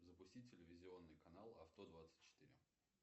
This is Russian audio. запусти телевизионный канал авто двадцать четыре